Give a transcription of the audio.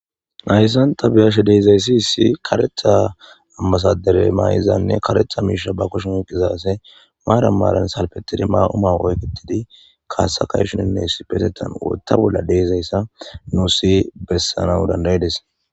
nayssanta biyashe deezayssi issi karetha ammasadere maa7izanne karetha miisha ba koshun oqizaase maaran maaran salpetidi maa7uma oyketidi kaasakayshuninne sipetetan wotta bolla deezayssa nuu si bessana dandayides